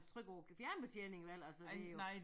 Trykke på æ fjernbetjening eller så det jo